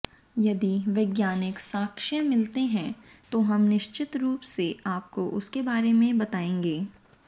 यदि वैज्ञानिक साक्ष्य मिलते हैं तो हम निश्चित रूप से आपको उसके बारे में बताएंगे